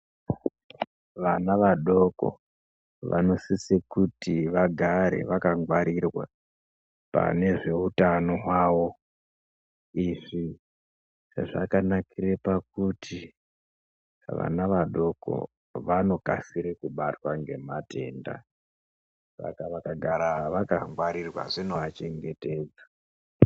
Vana vadoko vanosise kuti vagare vakangarirwa pane zveutano hwawo izvi zvakanakire pakuti vana vadoko vanokasire kubatwa ngematenda saka vakagara vakangwarirwa zvinoachengetedza.